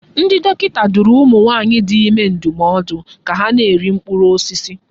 Ndị dọkịta dụrụ ụmụ nwaanyị dị ime ndụmọdụ ka ha na-eri mkpụrụ osisi.